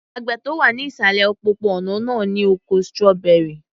Àgbẹ̀ tó wà ní ìsàlẹ̀ òpópó-ònà náà ní oko strawberry